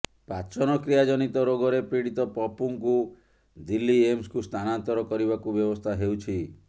ପାଚନକ୍ରିୟା ଜନିତ ରୋଗରେ ପୀଡ଼ିତ ପପୁଙ୍କୁ ଦିଲ୍ଲୀ ଏମ୍ସକୁ ସ୍ଥାନନ୍ତର କରିବାକୁ ବ୍ୟବସ୍ଥା ହେଉଛି